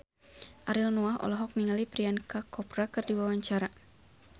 Ariel Noah olohok ningali Priyanka Chopra keur diwawancara